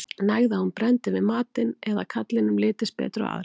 Nægði að hún brenndi við matinn eða að karlinum litist betur á aðra.